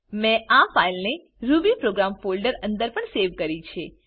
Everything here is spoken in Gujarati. મેં આ ફાઈલને રૂબીપ્રોગ્રામ ફોલ્ડર અંદર પણ સેવ કરી છે